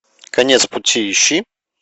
конец пути ищи